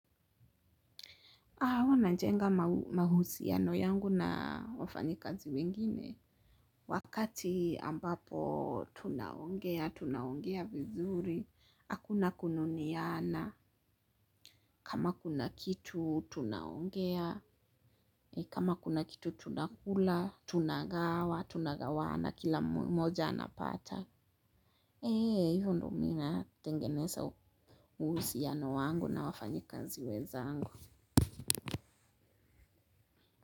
Huwa najenga mahusiano yangu na wafanyikazi wengine. Wakati ambapo tunaongea, tunaongea vizuri, akuna kununiana. Kama kuna kitu tunaongea, kama kuna kitu tunakula, tunagawa, tunagawana kila mmoja anapata. Eee hivo ndo mi natengeneza uhusiano wangu na wafanyikazi wenzangu.